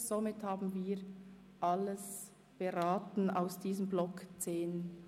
Somit haben wir den Themenblock 10.d zu Ende beraten.